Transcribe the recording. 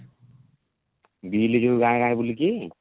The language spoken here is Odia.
bill ଯଉ ଗାଁ ଗାଁ ରେ ବୁଲିକି?